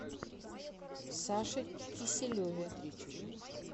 саше киселеве